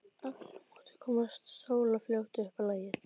Aftur á móti komst Sóla fljótt upp á lagið.